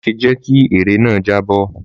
Má ṣe jẹ kí ère náà jábọ́!